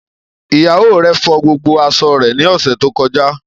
Iyạwo rẹ fo gbogbo aṣọ re ni ose to koja